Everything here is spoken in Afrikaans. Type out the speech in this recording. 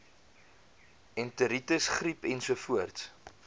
enteritis griep ensovoorts